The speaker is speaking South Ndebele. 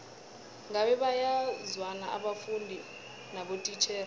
ngabe bayazwana abafundi nabotitjhere